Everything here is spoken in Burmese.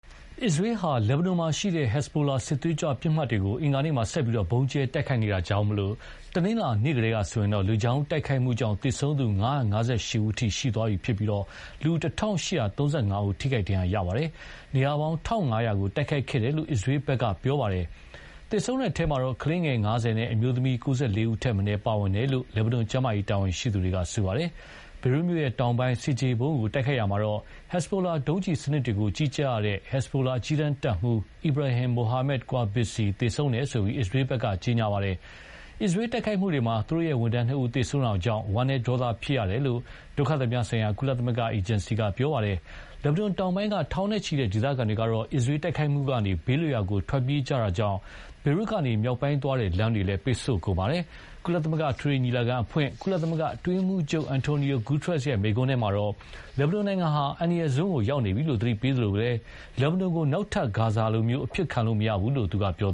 အစ္စရေးဟာ လက်ဘနွန်မှာရှိတဲ့ ဟက်ဇ်ဘိုလာစစ်သွေးကြွပစ်မှတ်တွေကို အင်္ဂါနေ့မှာ ဆက်ပြီး ဗုံးကြဲတိုက်ခိုက်နေတာကြောင့်, တနင်္လာနေ့ကတည်းကဆိုရင် လေကြောင်းတိုက်ခိုက်မှုကြောင့် သေဆုံးသူ ၅၅၈ ဦး အထိ ရှိသွားပြီး လူ ၁,၈၃၅ဦး ထိခိုက်ဒဏ်ရာရခဲ့ပါတယ်။ နေရာပေါင်း ၁,၅၀၀ ကို တိုက်ခိုက်ခဲ့တယ်လို့ အစ္စရေးက ပြောပါတယ်။ သေဆုံးတဲ့အထဲ ကလေးငယ် ၅၀ နဲ့ အမျိုးသမီး ၉၄ ဦးထက်မနည်း ပါဝင်တယ်လို့ လက်ဘနွန်ကျန်းမာရေးတာဝန်ရှိသူတွေက ပြောပါတယ်။ ဘေရွတ်မြို့တောင်ပိုင်း ဆင်ခြေဖုံးကိုတိုက်ခိုက်ရာမှာ ဟက်ဇ်ဘိုလာ ဒုံးကျည်စနစ်တွေကိုကြီးကြပ်ရတဲ့ ဟက်ဇ်ဘိုလာ အကြီးတန်းတပ်မှူး Ibrahim Muhammad Qubaisi သေဆုံးတယ်လို့ အစ္စရေးဘက်က ပြောပါတယ်။ အစ္စရေးတိုက်ခိုက်မှုတွေမှာ သူတို့ ဝန်ထမ်းနှစ်ဦး သေဆုံးတာကြောင့် ဝမ်နည်း ဒေါသဖြစ်ရတယ်လို့ ဒုက္ခသည်များဆိုင်ရာ ကုလအေဂျင်စီက ပြောပါတယ်။ လက်ဘနွန်တောင်ပိုင်းက ထောင်နဲ့ချီတဲ့ ဒေသခံတွေကတော့ အစ္စရေးတိုက်ခိုက်မှုကနေ ဘေးလွတ်ရာကို ထွက်ပြေးကြတာကြောင့် ဘေရွတ်ကနေ မြောက်ပိုင်းသွားတဲ့ လမ်းတွေပိတ်ဆို့ကုန်ပါတယ်။ ကုလသမဂ္ဂ အထွေထွေညီလာခံအဖွင့်ကုလ အတွင်းရေးမှူးချုပ် Antonio Guterres မိန့်ခွန်းထဲမှာတော့ လက်ဘနွန်နိုင်ငံဟာ အန္တရာယ်စွန်းကိုရောက်နေပြီလို့သတိပေးသလို လက်ဘနွန်ကို နောက်ထပ် ဂါဇာလို အဖြစ်ခံလို့မရဘူးလို့လည်း ပြော